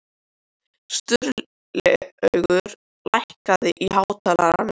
Sturlaugur, lækkaðu í hátalaranum.